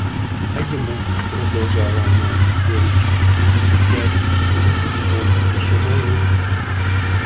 а ему продолжала она с горечью тридцать пять и выглядит он ещё моложе